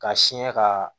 Ka siɲɛ ka